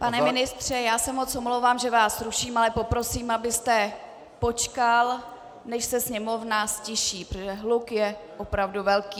Pane ministře, já se moc omlouvám, že vás ruším, ale poprosím, abyste počkal, než se sněmovna ztiší, protože hluk je opravdu velký.